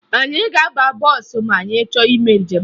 Anyị ga-aba bọọsụ ma anyị chọrọ ime njem